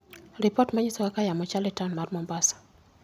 Ripot ma nyiso kaka yamo chal e taon mar mombasa